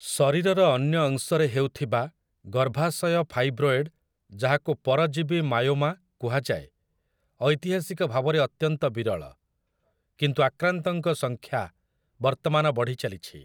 ଶରୀରର ଅନ୍ୟ ଅଂଶରେ ହେଉଥିବା 'ଗର୍ଭାଶୟ ଫାଇବ୍ରୋଏଡ୍' ଯାହାକୁ ପରଜୀବୀ ମାୟୋମା କୁହାଯାଏ ଐତିହାସିକ ଭାବରେ ଅତ୍ୟନ୍ତ ବିରଳ, କିନ୍ତୁ ଆକ୍ରାନ୍ତଙ୍କ ସଂଖ୍ୟା ବର୍ତ୍ତମାନ ବଢ଼ିଚାଲିଛି ।